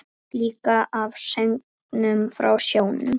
Líka af söngnum frá sjónum.